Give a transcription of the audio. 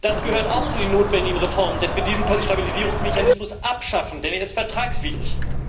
Das gehört auch zu den notwendigen Reformen, dass wir diesen Stabilisierungsmechanismus abschaffen, denn er ist vertragswidrig.